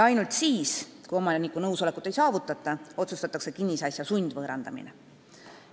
Ainult siis, kui omaniku nõusolekut ei saavutata, otsustatakse kinnisasi sundvõõrandada.